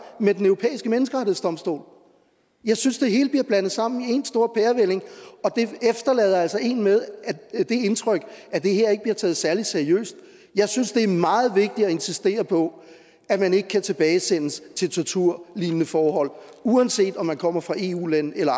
med den europæiske menneskerettighedsdomstol jeg synes det hele bliver blandet sammen i en stor pærevælling og det efterlader altså en med det indtryk at det her ikke bliver taget særlig seriøst jeg synes det er meget vigtigt at insistere på at man ikke kan tilbagesendes til torturlignende forhold uanset om man kommer fra et eu land eller